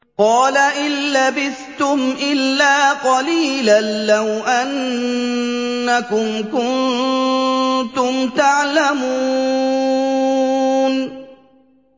قَالَ إِن لَّبِثْتُمْ إِلَّا قَلِيلًا ۖ لَّوْ أَنَّكُمْ كُنتُمْ تَعْلَمُونَ